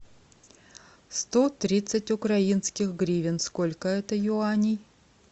сто тридцать украинских гривен сколько это юаней